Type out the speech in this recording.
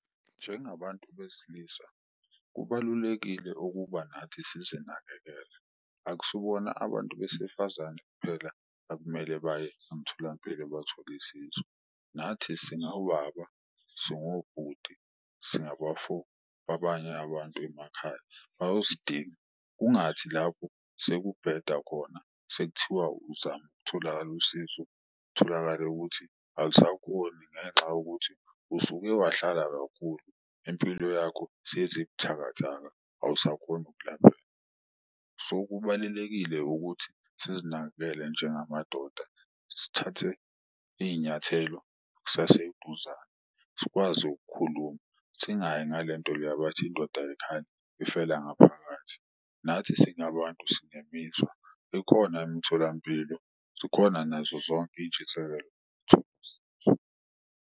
Njengabantu beslisa kubalulekile ukuba nathi sizinakekele, akusibona abantu besifazane kuphela akumele baye emtholampilo bathole isizo. Nathi singawubaba, singobhuti, singabafo abanye abantu emakhaya, bayosidinga. Kungathi lapho sekubheda khona sekuthiwa uzama ukutholakala usizo kutholakale ukuthi alisakhoni ngenxa yokuthi usuke wahlala kakhulu impilo yakho seyize ibuthakathaka, awusakhoni ukulapheka. So, kubalulekile ukuthi sizinakekele njengamadoda sithathe iy'nyathelo kusaseduzane sikwazi ukukhuluma, singayi ngalento le abathi indoda ayikhali ifela ngaphakathi. Nathi singabantu sinemizwa ikhona imtholampilo, zikhona nazo zonke iy'ntshisekelo .